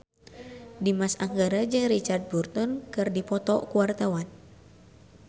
Dimas Anggara jeung Richard Burton keur dipoto ku wartawan